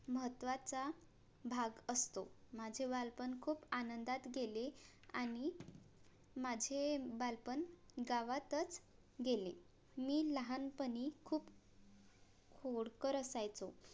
महत्वाचा भाग असतो माझे बालपण खूप आनंदात गेले आणि माझे बालपण गावातच गेले मी लहानपणी खूप खोडकर असायचो